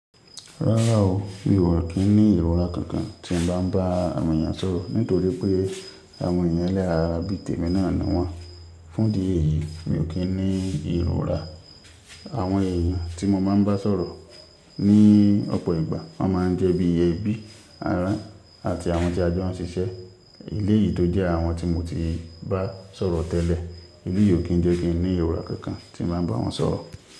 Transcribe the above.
Rárá o, mi ò kí ń ní ìrora kankan tí mo bá ń bá àwọn èèyàn sọ̀rọ̀ nítorí pé àwọn èèyàn ẹ̀lẹ́ran ara bí tèmi náà ni wọ́n. Fún di èyí mi ò kí ń ní ìrora. Àwọn èèyàn tí mo máa ń bá sọ̀rọ̀ ní ọ̀pọ̀ ìgbà máa ń jẹ́ bí ẹbí, ará àti àwọn tí a jọ ń ṣiṣẹ́. Élé yìí tó jẹ́ àwọn tí mo ti bá sọ̀rọ̀ tẹ́lẹ̀, élé yìí ò kí ń jẹ́ kí ń ní ìrora kankan tí bàá ń bá wọn sọ̀rọ̀.